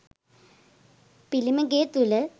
පිළිම ගේ තුළ